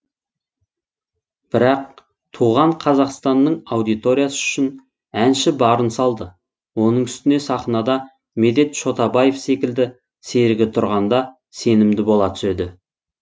бірақ туған қазақстанның аудиториясы үшін әнші барын салды оның үстіне сахнада медет шотабаев секілді серігі тұрғанда сенімді бола түседі